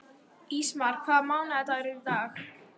Ísmar, hvaða mánaðardagur er í dag?